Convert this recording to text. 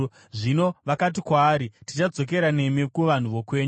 Zvino vakati kwaari, “Tichadzokera nemi kuvanhu vokwenyu.”